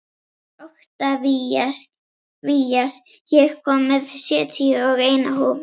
Oktavías, ég kom með sjötíu og eina húfur!